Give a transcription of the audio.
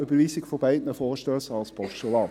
Überweisung von beiden Vorstössen als Postulat.